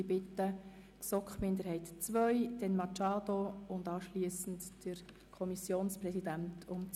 Ich bitte die GSoK-Minderheit II um das Wort, dann Grossrätin Machado und anschliessend den Kommissionspräsidenten.